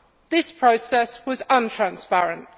This process was untransparent.